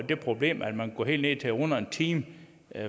det problem at man kunne gå helt ned til under en time